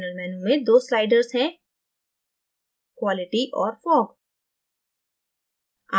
general menu में दो sliders हैं: qualityऔर fog